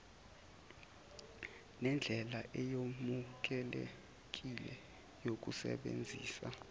nendlela eyamukelekile yokusebenzisa